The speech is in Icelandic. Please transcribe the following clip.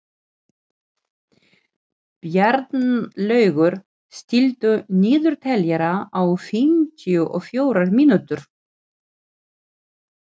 Bjarnlaugur, stilltu niðurteljara á fimmtíu og fjórar mínútur.